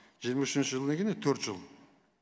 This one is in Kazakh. жиырма үшінші жыл деген не төрт жыл